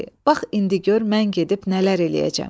Bax indi gör mən gedib nələr eləyəcəm.